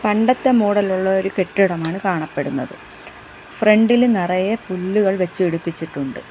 പണ്ടത്തെ മോഡൽ ഇലുള്ള ഒരു കെട്ടിടമാണ് കാണപ്പെടുന്നത് ഫ്രണ്ട് ഇൽ നിറയെ പുല്ലുകൾ വെച്ച് പിടിപ്പിച്ചിട്ടുണ്ട്.